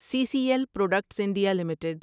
C C L products India limited